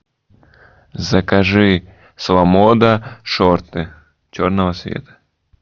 закажи с ламода шорты черного цвета